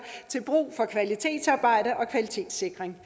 til brug for kvalitetsarbejde og kvalitetssikring